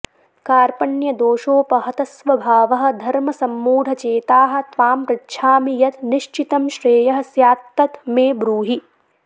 कार्पण्यदोषोपहतस्वभावः धर्मसम्मूढचेताः त्वां पृच्छामि यत् निश्चितं श्रेयः स्यात् तत् मे ब्रूहि